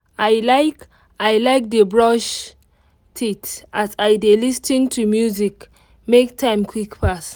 i like i like dey brush teeth as i dey lis ten to music make time quick pass